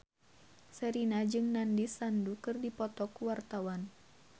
Sherina jeung Nandish Sandhu keur dipoto ku wartawan